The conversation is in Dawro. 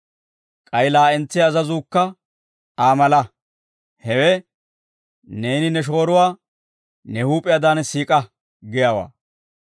K'ay laa'entsiyaa azazuukka Aa mala; hewe, ‹Neeni ne shooruwaa ne huup'iyaadaan siik'a› giyaawaa.